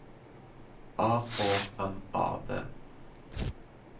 A H M A D